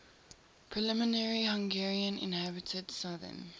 primarily hungarian inhabited southern